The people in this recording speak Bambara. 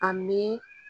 A mi